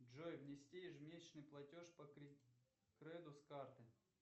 джой внести ежемесячный платеж по кредиту с карты